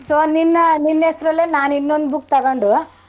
So ನಿನ್~ ನಿನ್ನ ಹೆಸ್ರಲ್ಲೆ ನಾನ್ನಿನ್ನೊಂದ್ book ತಗೊಂಡು.